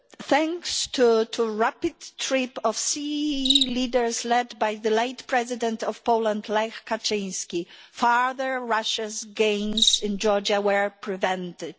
Thanks to the rapid trip of CEE leaders, led by the late president of Poland, Lech Kaczynski, further Russian gains in Georgia were prevented.